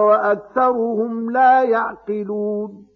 وَأَكْثَرُهُمْ لَا يَعْقِلُونَ